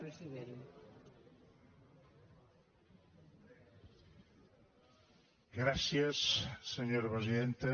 gràcies senyora presidenta